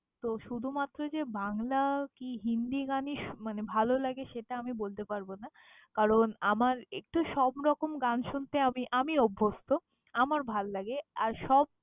তো শুধুমাত্র যে বাংলা কি হিন্দি গানই শুনতে মানে ভালোলাগে সেটা আমি বলতে পারব না কারণ, আমার একটু সবরকম গান শুনতে আমি~ আমি অভ্যস্থ। আমার ভাল্লাগে, আর সব~